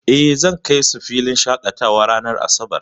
Eh, zan kai su filin shaƙatawa ranar asabar.